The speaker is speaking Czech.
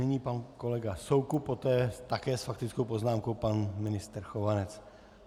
Nyní pan kolega Soukup, poté také s faktickou poznámkou pan ministr Chovanec.